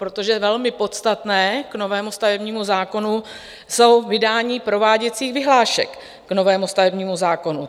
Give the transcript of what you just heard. Protože velmi podstatné k novému stavebnímu zákonu jsou vydání prováděcích vyhlášek k novému stavebnímu zákonu.